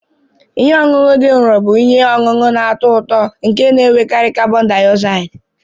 Ihe ọṅụṅụ dị nro bụ ihe ọṅụṅụ na-atọ ụtọ nke na-enwekarị karbon diozaidi.